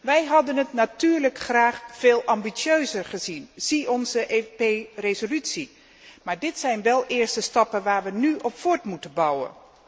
Wij hadden het natuurlijk graag veel ambitieuzer gezien zie onze resolutie maar dit zijn wel eerste stappen waarop we nu voort moeten bouwen.